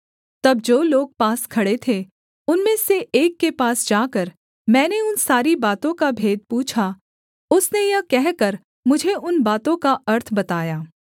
तब जो लोग पास खड़े थे उनमें से एक के पास जाकर मैंने उन सारी बातों का भेद पूछा उसने यह कहकर मुझे उन बातों का अर्थ बताया